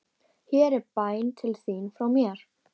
Hér er bæn til þín frá mér.